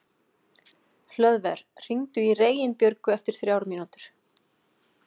Hlöðver, hringdu í Reginbjörgu eftir þrjár mínútur.